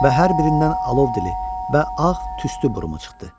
Və hər birindən alov dili və ağ tüstü burumu çıxdı.